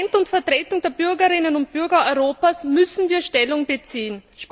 Als Parlament und Vertretung der Bürgerinnen und Bürger Europas müssen wir Stellung beziehen.